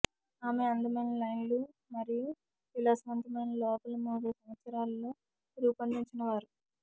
ఆమె అందమైన లైన్లు మరియు విలాసవంతమైన లోపలి మూడు సంవత్సరాలలో రూపొందించినవారు